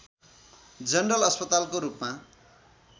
general अस्पतालको रूपमा